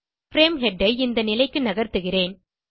frame head ஐ இந்த நிலைக்கு நகர்த்துகிறேன்